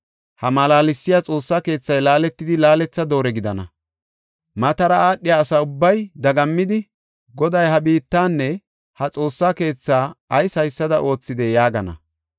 Ha malaalsiya Xoossa keethay laaletidi laaletha doore gidana. Matara aadhiya asa ubbay dagammidi, ‘Goday ha biittanne ha Xoossa keethaa ayis haysada oothidee?’ yaagana.